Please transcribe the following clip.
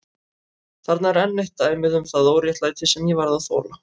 Þarna er enn eitt dæmið um það óréttlæti sem ég varð að þola.